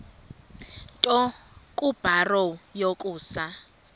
nto kubarrow yokusa